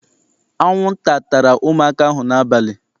Anwụnta tara ụmụaka ahụ n'abalị.